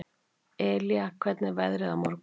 Elía, hvernig er veðrið á morgun?